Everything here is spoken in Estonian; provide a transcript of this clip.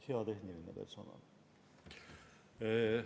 Hea tehniline personal!